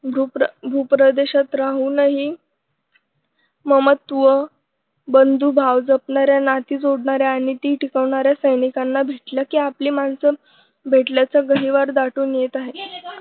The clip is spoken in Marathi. भूप्र भूप्रदेशात राहूनही ममत्व बंधुभाव जपणाऱ्या नाते जोडणाऱ्या आणि ती टिकवणाऱ्या सैनिकांना भेटलं की आपली माणसं भेटल्याचं गहिवर दाटून येत आहे.